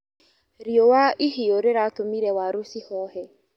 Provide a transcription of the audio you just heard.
Riũa ihiũ rĩratũmire waru cihohe.